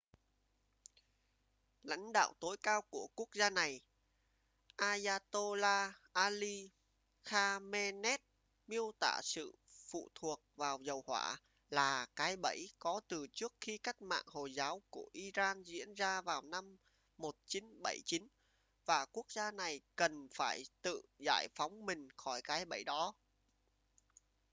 lãnh đạo tối cao của quốc gia này ayatollah ali khamenei miêu tả sự phụ thuộc vào dầu hỏa là cái bẫy có từ trước khi cách mạng hồi giáo của iran diễn ra vào năm 1979 và quốc gia này cần phải tự giải phóng mình khỏi cái bẫy đó